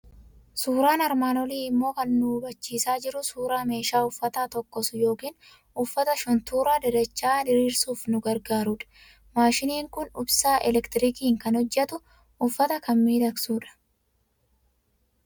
Suuraan armaan olii immoo kan inni nu hubachiisaa jiru suuraa meeshaa uffata tokkosu yookiin uffata shuntuuraa, dadacha'aa diriirsuuf nu gargaarudha. Maashiniin kun ibsaa elektiriikiitiin kan hojjetu, uffata kan miidhagsu dha.